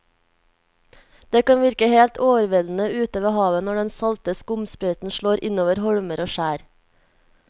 Det kan virke helt overveldende ute ved havet når den salte skumsprøyten slår innover holmer og skjær.